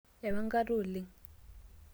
eewa enkata oleng'